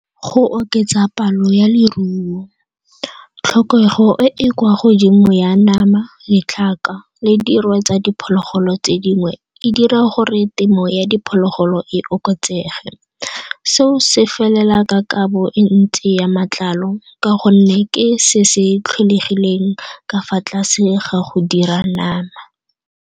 Go oketsa palo ya leruo tlhokego e e kwa godimo ya nama, ditlhaka le dirwe tsa diphologolo tse dingwe e dira gore temo ya diphologolo pholo e okotsege. Seo se felela ka kabo e ntsi ya matlalo ka gonne ke se se tlholegileng ka fa tlase ga go dira nama.